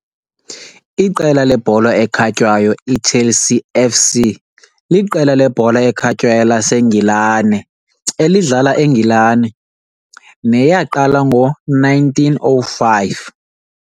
iqela lebhola ekhatywayo iChelsea F.C. liqela lebhola ekhatywayo laseNgilane elidlala eNgilane, neyaqala ngo-1905.